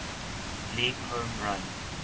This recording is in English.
league home run